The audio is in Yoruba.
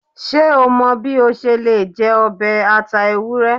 Ṣe o mọ bi o ṣe le jẹ ọbẹ ata ewurẹ?